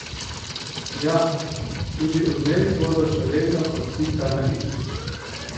Ja, tudi Odmevi bodo še vedno kot pika na i.